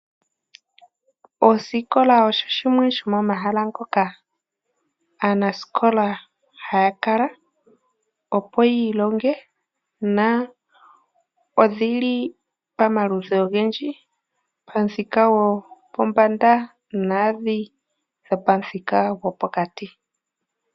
Oosikola ogo omahala ngoka aanasikola haya kala opo yiilonge. Odhili pomaludhi ogendji. Pomuthika gopombanda naandhi dhopomuthika gopokati.